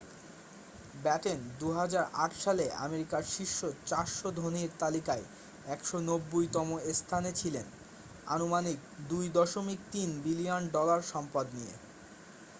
Batten 2008 সালে আমেরিকার শীর্ষ 400 ধনীর তালিকায় 190তম স্থানে ছিলেন আনুমানিক 2.3 বিলিয়ন ডলায় সম্পদ নিয়ে